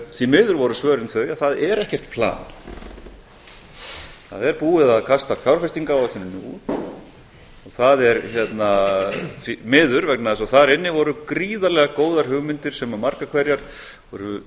því miður voru svörin þau að það er ekkert plan það er búið að kasta fjárfestingaráætluninni út það er miður vegna þess að þar inni voru gríðarlega góðar hugmyndir sem margar hverjar voru